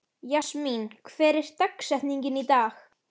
Jasmín, hver er dagsetningin í dag?